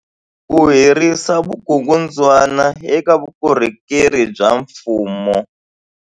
Ku herisa vukungundwani eka vukorhokeri bya mfumo.